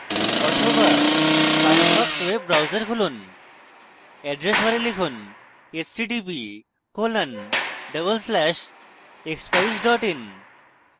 অথবা Firefox web browser খুলুন address bar লিখুন: